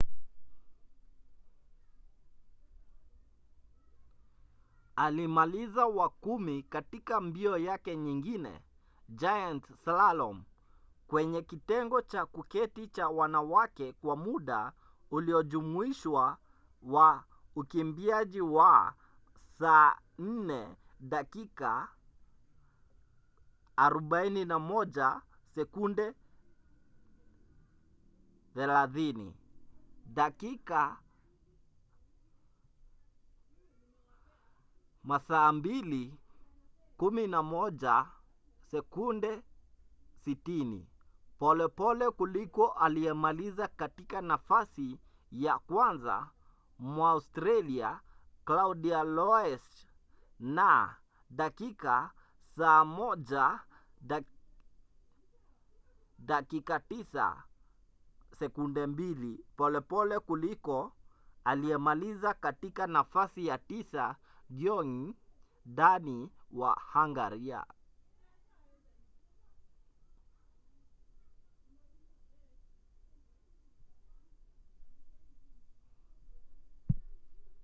alimaliza wa kumi katika mbio yake nyingine giant slalom kwenye kitengo cha kuketi cha wanawake kwa muda uliojumuishwa wa ukimbiaji wa 4:41.30 dakika 2:11.60 polepole kuliko aliyemaliza katika nafasi ya kwanza mwaustralia claudia loesch na dakika 1:09.02 polepole kuliko aliyemaliza katika nafasi ya tisa gyongyi dani wa hungaria